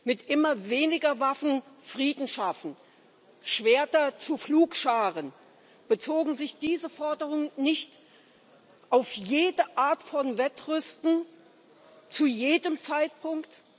Mit immer weniger Waffen Frieden schaffen, Schwerter zu Pflugscharen bezogen sich diese Forderungen nicht auf jede Art von Wettrüsten zu jedem Zeitpunkt?